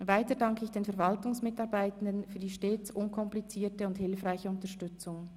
Weiter danke ich den Verwaltungsmitarbeitenden für die stets unkomplizierte und hilfreiche Unterstützung.